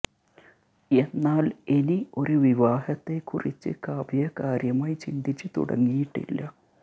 എന്നാല് ഇനി ഒരു വിവാഹത്തെ കുറിച്ച് കാവ്യ കാര്യമായി ചിന്തിച്ച് തുടങ്ങിയിട്ടില്ല